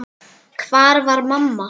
Hvar var mamma?